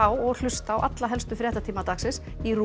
og hlusta á alla helstu fréttatíma dagsins í RÚV